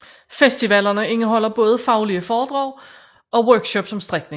Festivalene indeholder både faglige foredrag og workshops om strikning